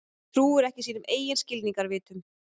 Trúir ekki sínum eigin skilningarvitum.